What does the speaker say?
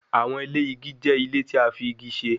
Awọn ile igi jẹ ile ti a fi igi ṣe